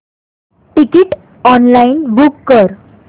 ticket online book कर